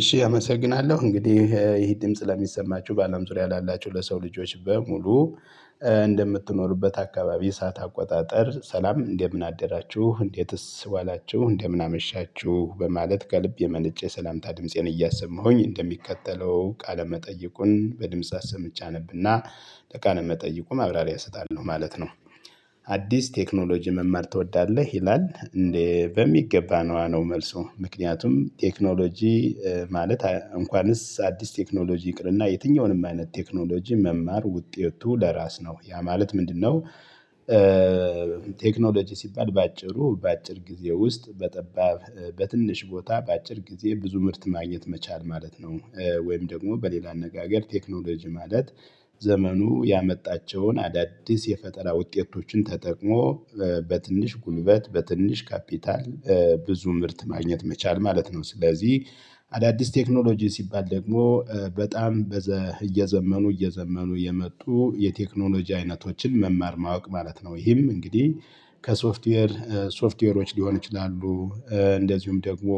እሺ አመሰግናለሁ እንግዲህ ይሄ ድምጽ ለሚሰማችሁ በአለም ዙሪያ ላላችሁ ለሰው ልጆች በሙሉ እንደምትኖሩበት አካባቢ እሳት አቆጣጠር ሰላም እንደምን አደራችሁ እንዴትስ ዋላችሁ እንደምን አመሻችሁ በማለት ከልብ የመነጨ ሰላምታ ድምፄን እያሰማሁኝ እንደሚከተለው ቃለ መጠየቁን በድምጽ አሰምቼ አነብና ለቃለ መጠይቁ ማብራሪያ እሰጣለሁ ማለት ነው። አዲስ ቴክኖሎጂ መማር ትወዳለህ ይላል እንዴ በሚገባ ነው መልሱ ምክንያቱም ቴክኖሎጂ ማለት እንኳንስ አዲስ ቴክኖሎጂ ይቅርና የትኛውንም አይነት ቴክኖሎጂ መማር ውጤቱ ለራስ ነው ያ ማለት ምንድነው? ቴክኖሎጂ ሲባል በአጭሩ በአጭር ጊዜ ውስጥ በጠባብ በትንሽ ቦታ በአጭር ጊዜ ብዙ ምርት ማግኘት መቻል ማለት ነው። ወይም ደግሞ በሌላ አነጋገር ቴክኖሎጂ ማለት ዘመኑ ያመጣቸውን አዳዲስ የፈጠራ ውጤቶችን ተጠቅሞ በትንሽ ጉልበት በትንሽ ካፒታል ብዙ ምርት ማግኘት መቻል ማለት ነው። ስለዚህ አዳዲስ ቴክኖሎጂ ሲባል ደግሞ በጣም እየዘመኑ እየዘመኑ የመጡ የቴክኖሎጂ አይነቶችን መማር ማወቅ ማለት ነው። ይህም እንግዲህ ከሶፍትዌር ሶፍትዌሮች ሊሆኑ ይችላሉ። እንደዚሁም ደግሞ